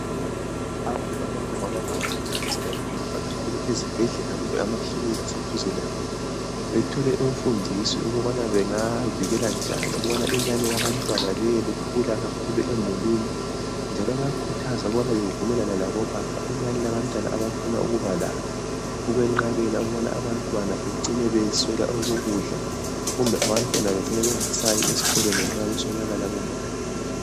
Abantu abangomama bayakhuthazwa ukubana bevakatshele ezibhedlela kumbe amaklinika aseduze labo. Bethole imfundiso ukubana bengavikelanjani ukubana inani labantwana libe likhula kakhulu emulini. Njalo bayakhuthazwa ukubana bevumelane labobaba inani labantwana abafuna ukuba lalo. Ukwenqabela ukubana abantwana becine beswela okokudla, kumbe abantwana bacine bengasayi esikolweni ngenxa yokuswelakala kwemali.